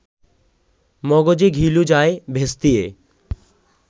মগজে ঘিলু যায় ভেস্তিয়ে